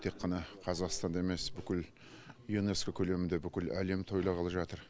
тек қана қазақстанда емес бүкіл юнеско көлемінде бүкіл әлем тойланғалы жатыр